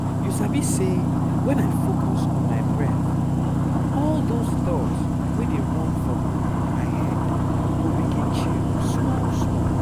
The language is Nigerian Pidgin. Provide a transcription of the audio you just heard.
you sabi say when i focus on my breath all those thoughts wey dey run for um my head go begin chill small small.